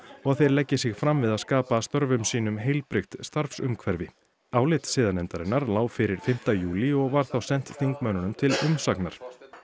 og að þeir leggi sig fram við að skapa störfum sínum heilbrigt starfsumhverfi álit siðanefndarinnar lá fyrir fimmta júlí og var þá sent þingmönnunum til umsagnar